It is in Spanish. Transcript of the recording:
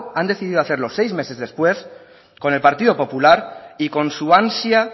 han decidido seis meses después con el partido popular y con su ansia